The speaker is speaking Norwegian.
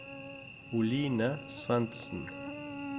Oline Svendsen